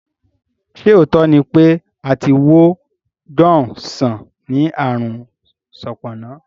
Ṣé òótọ́ ni pé a ti wo John sàn ní ààrùn Sopona?